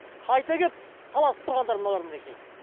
қайта келіп таласып тұрғандар мыналар мінекей